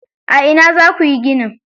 A ina za kuyi ginin?